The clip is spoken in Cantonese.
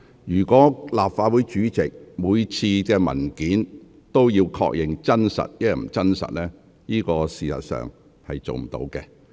如果立法會主席每次也要確認文件內容是否屬實，事實上是無法做到的。